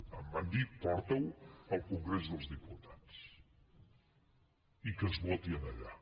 em van dir porta ho al congrés dels diputats i que es voti allà